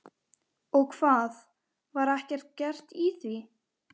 Og hvað, var ekkert gert í því?